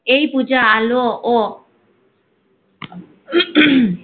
এই পূজা আলো ও